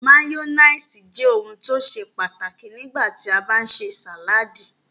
Máyónísì jẹ́ ohun tó ṣe pàtàkì nígbà tí a bá ń ṣe sàládì.